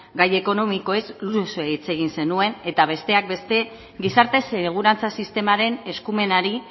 gai ekonomikoez luze hitz egin zenuen eta besteak beste gizarte segurantza sistemaren eskumenari